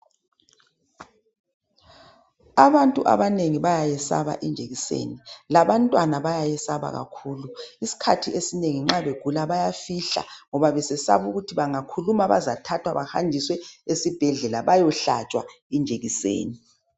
Abantu abanengi bayayesaba ijekiseni labantwana bayayesaba kakhulu. Isikhathi esinengi nxa begula bayafihla ngoba besesaba ukuthi bazathathwa bahanjiswe esibhedlela bayohlatshwa ijekiseni.